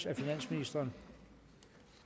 af finansministeren